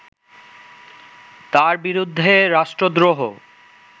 তার বিরুদ্ধে রাষ্ট্রদ্রোহ